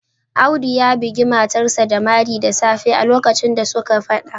Audu ya bugi matarsa ​​da mari da safe a lokacin da suke Fada